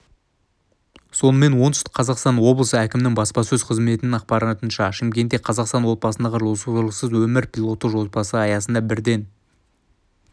сонымен оңтүстік қазақстан облысы әкімінің баспасөз қызметінің ақпарынша шымкентте қазақстан отбасындағы зорлықсыз өмір пилоттық жобасы аясындабірден